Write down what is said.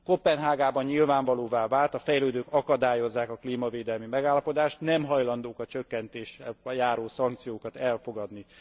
Koppenhágában nyilvánvalóvá vált a fejlődők akadályozzák a klímavédelmi megállapodást, nem hajlandók a csökkentéssel járó szankciókat elfogadni.